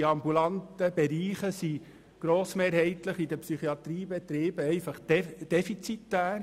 Der ambulante Bereich ist in den Psychiatriebetrieben grossmehrheitlich defizitär.